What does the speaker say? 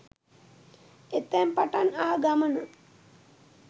එතැන් පටන් ආ ගමන